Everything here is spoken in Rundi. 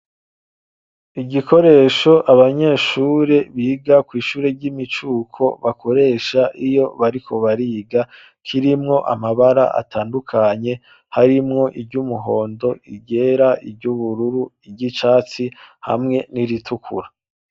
Igikoresho abanyeshure biga kwishure ry’imicuko bakoresha iyo bariko bariga kirimwo amabara atandukanye harimwo iry’umuhondo ,i ryera ,iry’uburururu, iry’icatsi hamwe n’iritukura.